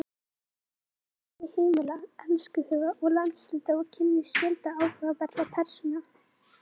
Hún ferðast á milli heimila, elskhuga og landshluta og kynnist fjölda áhugaverðra persóna.